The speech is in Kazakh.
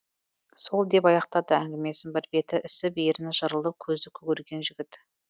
сол деп аяқтады әңгімесін бір беті ісіп ерні жырылып көзі көгерген жігіт